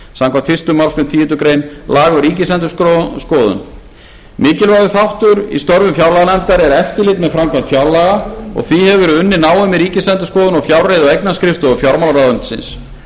samkvæmt fyrstu málsgreinar tíundu grein laganna um ríkisendurskoðun mikilvægur þáttur í störfum fjárlaganefndar er eftirlit með framkvæmd fjárlaga og að því hefur verið unnið náið með ríkisendurskoðun og fjárreiðu og eignaskrifstofu fjármálaráðuneytisins